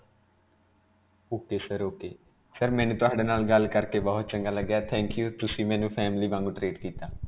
ok sir. ok. sir ਮੈਨੂੰ ਤੁਹਾਡੇ ਨਾਲ ਗੱਲ ਕਰਕੇ ਬਹੁਤ ਚੰਗਾ ਲੱਗਾ ਹੈ. thank you ਤੁਸੀਂ ਮੈਨੂੰ family ਵਾਂਗ treat ਕੀਤਾ.